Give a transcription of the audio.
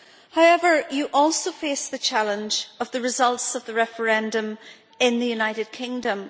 However, you also face the challenge of the results of the referendum in the United Kingdom.